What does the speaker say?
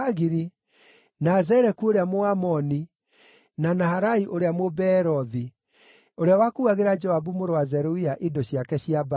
na Zeleku ũrĩa Mũamoni, na Naharai ũrĩa Mũbeerothi, ũrĩa wakuuagĩra Joabu mũrũ wa Zeruia indo ciake cia mbaara,